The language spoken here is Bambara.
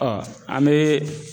an bee